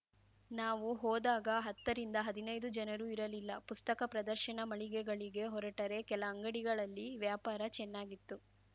ನಾವು ಹೋದಾಗ ಹತ್ತ ರಿಂದಹದಿನೈದು ಜನರೂ ಇರಲಿಲ್ಲ ಪುಸ್ತಕ ಪ್ರದರ್ಶನ ಮಳಿಗೆಗಳಿಗೆ ಹೊರಟರೆ ಕೆಲ ಅಂಗಡಿಗಳಲ್ಲಿ ವ್ಯಾಪಾರ ಚೆನ್ನಾಗಿತ್ತು